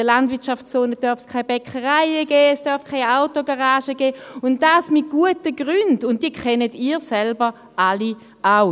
In der Landwirtschaftszone darf es keine Bäckereien geben, es darf keine Autogaragen geben, und dies mit guten Gründen, die Sie alle selbst auch kennen.